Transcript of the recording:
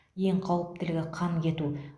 ең қауіптілігі қан кету